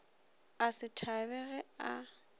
a se thabe ge a